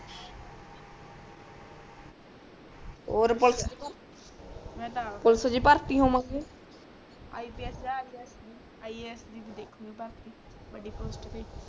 ਔਰ ਪੁਲਿਸ ਮੈਂ ਤਾ ਆਪ ਪੁਲਿਸ ਚ ਭਰਤੀ ਹੋਵਾਂਗੇ ips ਯਾ SI ਦੇ ਭੀ ਦੇਖਲੋਂ ਭਰ ਕੇ ਬਡ਼ੀ post